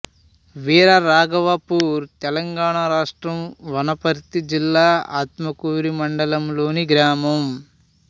వీరరాఘవాపూర్ తెలంగాణ రాష్ట్రం వనపర్తి జిల్లా ఆత్మకూరు మండలంలోని గ్రామం